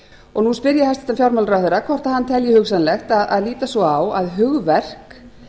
og nú spyr ég hæstvirtan fjármálaráðherra hvort hann telji hugsanlegt að líta svo á að hugverk